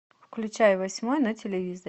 включай восьмой на телевизоре